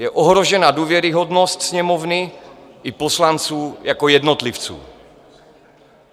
Je ohrožena důvěryhodnost Sněmovny i poslanců jako jednotlivců.